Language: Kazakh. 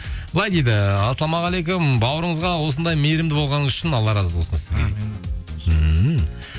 былай дейді ассалаумағалейкум бауырыңызға осындай мейірімді болғаныңыз үшін алла разы болсын сізге дейді